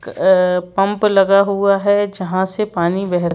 pump लगा हुआ है जहां से पानी बह--